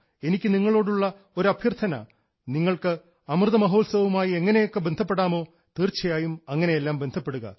എനിക്ക് നിങ്ങളോടുള്ള ഒരു അഭ്യർത്ഥന നിങ്ങൾക്ക് അമൃതമഹോത്സവവുമായി എങ്ങനെയൊക്കെയോ ബന്ധപ്പെടാമോ തീർച്ചായും അങ്ങനെയെല്ലാം ബന്ധപ്പെടുക